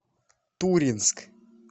туринск